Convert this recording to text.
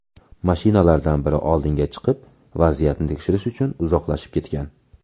Mashinalardan biri oldinga chiqib, vaziyatni tekshirish uchun uzoqlashib ketgan.